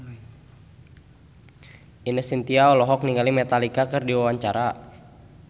Ine Shintya olohok ningali Metallica keur diwawancara